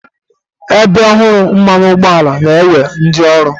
Ebe ọhụrụ mmanụ ụgbọala na-ewe ndị ọrụ.